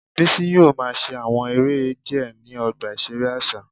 Bisi yoo ma ṣe awọn ere diẹ ni ọgba iṣere aṣa